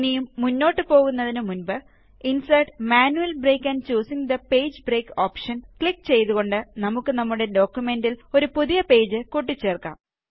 ഇനിയും മുന്നോട്ട് പോകുന്നതിനു മുന്പ് ഇന്സേര്ട്ട് ജിടിജിടി manual break and choosing the page break option click ചെയ്തുകൊണ്ട് നമുക്ക് നമ്മുടെ ഡോക്കുമെന്റില് ഒരു പുതിയ പേജ് കൂട്ടി ചേര്ക്കാം